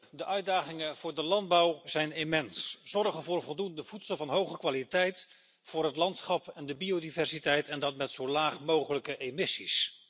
Voorzitter, de uitdagingen voor de landbouw zijn immens zorgen voor voldoende voedsel van hoge kwaliteit, voor het landschap en de biodiversiteit, en dat met zo laag mogelijke emissies.